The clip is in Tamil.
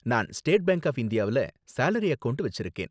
நான் ஸ்டேட் பேங்க் ஆஃப் இந்தியாவுல சாலரி அக்கவுண்ட் வெச்சிருக்கேன்.